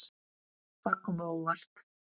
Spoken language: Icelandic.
Það kom á óvart.